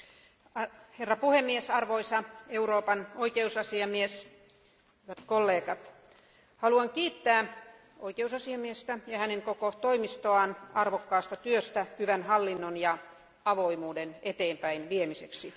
Arvoisa puhemies, arvoisa Euroopan oikeusasiamies ja kollegat, haluan kiittää oikeusasiamiestä ja hänen koko toimistoaan arvokkaasta työstä hyvän hallinnon ja avoimuuden eteenpäin viemiseksi.